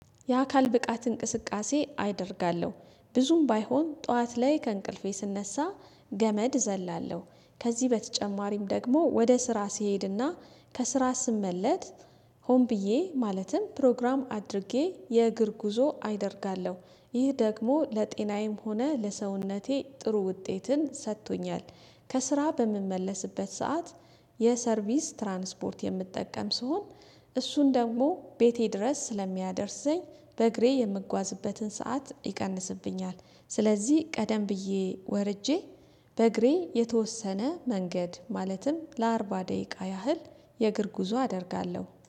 የአካል ብቃት እንቅስቃሴ አይደርጋለሁ ብዙም ባይሆን ጠዋት ላይ ከእንቅልፌ ስነሳ ገመድ ዘላለሁ። ከዚህ በተጨማሪም ደግሞ ወደ ስራ ሲሄድና ከስራ ስመለስ ሆን ብዬ ማለትም ፕሮግራም አድርጌ የእግር ጉዞ አደርጋለሁ ይህ ደግሞ ለጤናዬም ሆነ ለሰውነቴ ጥሩ ውጤትን ሰጥቶኛል። ከስራ በምመለስበት ሰዓት የሰርቪስ ትራንስፖርት የምጠቀም ስሆን እሱን ደግሞ ቤቴ ድረስ ስለሚያደርሰኝ በእግሬ የምጓዝበትን ሰዓት ይቀንስብኛል። ስለዚህ ቀደም ብዬ ወርጄ በእግሬ የተወሰነ መንገድ ማለትም ለአርባ ደቂቃ ያህል የእግር ጉዞ አደርጋለሁ